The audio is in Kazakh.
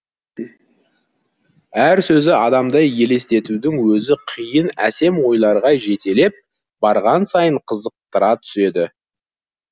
әр сөзі адамды елестетудің өзі қиын әсем ойларға жетелеп барған сайын қызықтыра түседі